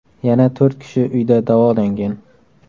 Yana to‘rt kishi uyda davolangan.